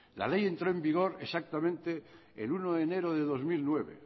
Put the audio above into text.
la ley entró en vigor exactamente el uno de enero de dos mil nueve